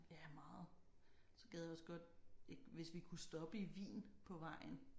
Ja meget. Så gad jeg også godt hvis vi kunne stoppe i Wien på vejen